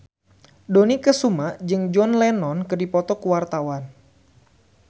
Dony Kesuma jeung John Lennon keur dipoto ku wartawan